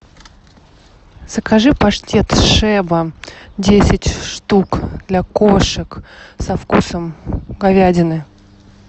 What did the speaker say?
закажи паштет шеба десять штук для кошек со вкусом говядины